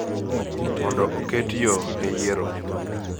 mondo oket yo ne yiero,